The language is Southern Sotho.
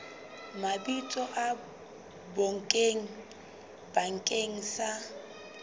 mabitso a bonkgetheng bakeng sa